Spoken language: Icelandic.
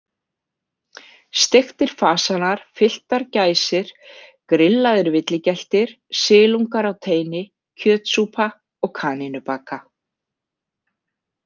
Steiktir fashanar, fylltar gæsir, grillaðir villigeltir, silungar á teini, kjötsúpa og kanínubaka.